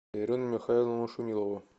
ирину михайловну шумилову